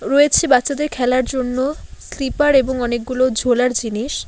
রয়েছে বাচ্চাদের খেলার জন্য স্লিপার এবং অনেকগুলো ঝোলার জিনিস।